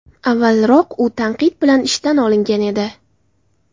Avvalroq u tanqid bilan ishdan olingan edi.